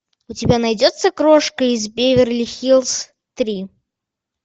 у тебя найдется крошка из беверли хиллз три